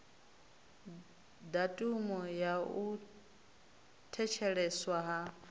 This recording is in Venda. datumu ya u thetsheleswa ha